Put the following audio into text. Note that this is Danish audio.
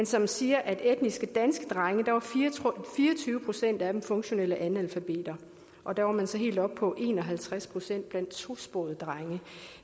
som siger at for etniske danske drenge var fire og tyve procent af dem funktionelle analfabeter og der var man så helt oppe på en og halvtreds procent blandt tosprogede drenge